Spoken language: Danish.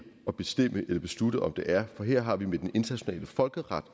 og bestemme eller beslutte om det er for her har vi med den internationale folkeret